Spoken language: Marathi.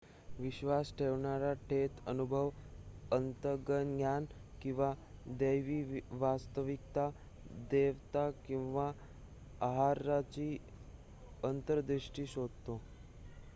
विश्वास ठेवणारा थेट अनुभव अंतर्ज्ञान किंवा दैवी वास्तविकता/देवता किंवा आहाराची अंतर्दृष्टी शोधतो